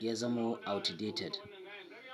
ya zamo outdated.